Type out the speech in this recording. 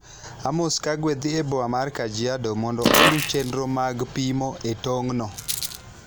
Amos Kagwe dhi e boma mar Kajiado mondo oluw chenro mag pimo e tong'no.